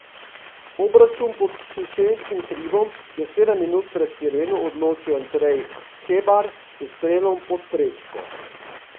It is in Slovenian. Obračun pod Šišenskim hribom je sedem minut pred sireno odločil Andrej Hebar s strelom pod prečko.